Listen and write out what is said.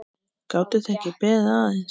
Gátuð þið ekki beðið aðeins?